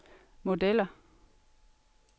modeller